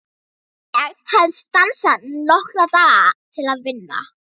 Ég hafði stansað nokkra daga til að vinna.